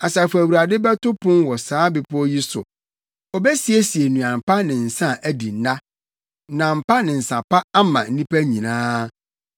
Asafo Awurade bɛto pon wɔ saa bepɔw yi so obesiesie nnuan pa ne nsa a adi nna; nam pa ne nsa pa ama nnipa nyinaa.